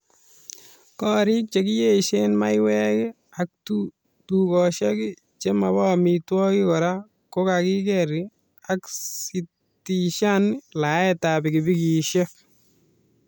Korik chekiyeysen maywek ak tukoshek che mobo amitwogik kora kokakiker ak sitishan laetab pikipikiishek